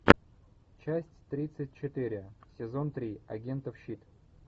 часть тридцать четыре сезон три агентов щит